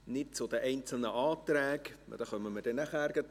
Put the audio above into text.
Zu den einzelnen Anträgen kommen wir nachher.